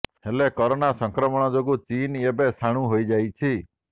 ହେଲେ କରୋନା ସଂକ୍ରମଣ ଯୋଗୁ ଚୀନ ଏବେ ସ୍ଥାଣୁ ହୋଇଯାଇଛି